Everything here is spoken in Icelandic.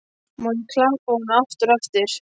Má ég þá klappa honum aftur á eftir?